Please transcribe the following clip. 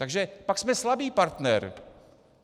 Takže pak jsme slabý partner.